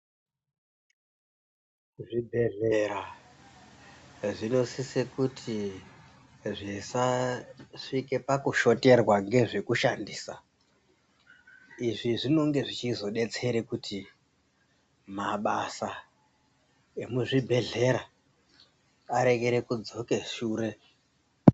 Zvibhedhlera zvinosise kuti zvisasvike pakushoterwa ngezvekushandisa. Izvi zvinonge zvichizodetsere kuti mabasa emuzvibhedhlera arekere kudzoke shure.